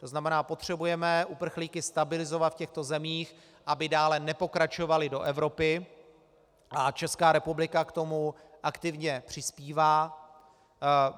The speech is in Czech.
To znamená, potřebujeme uprchlíky stabilizovat v těchto zemích, aby dále nepokračovali do Evropy, a Česká republika k tomu aktivně přispívá.